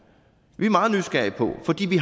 vi er meget nysgerrige på